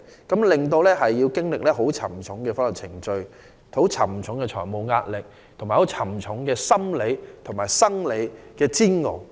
僱員需經歷沉重的程序、承擔沉重的財務壓力和沉重的身心煎熬。